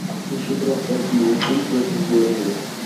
ищи трансляцию ливерпуль против бернли